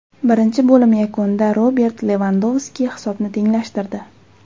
Birinchi bo‘lim yakunida Robert Levandovski hisobni tenglashtirdi.